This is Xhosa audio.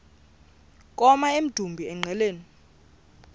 koma emdumbi engqeleni